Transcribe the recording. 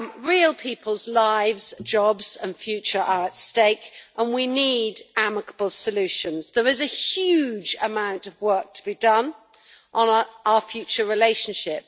Real people's lives, jobs and future are at stake, and we need amicable solutions. There is a huge amount of work to be done on our future relationship.